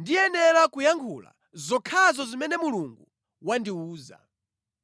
ndiyenera kuyankhula zokhazo zimene Mulungu wandiwuza.”